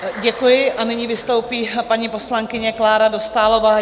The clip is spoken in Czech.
Děkuji a nyní vystoupí paní poslankyně Klára Dostálová.